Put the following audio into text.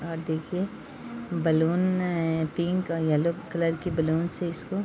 और देखिये balloon pink और येलो कलर की बलून से इसको --